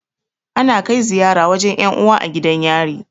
Ana kai ziyara wajan 'yan uwa a gidan yari.